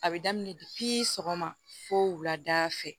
A bɛ daminɛ sɔgɔma fo wulada fɛ